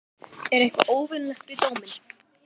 Er eitthvað óvenjulegt við dóminn?